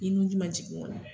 Ni nunji ma jigin